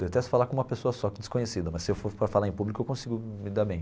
Detesto falar com uma pessoa só, desconhecida, mas se eu for para falar em público, eu consigo me dar bem.